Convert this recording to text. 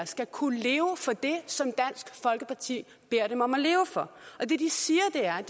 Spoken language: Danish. skal kunne leve for det som dansk folkeparti beder dem om at leve for og det de siger er